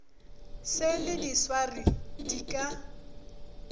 se le diswari di ka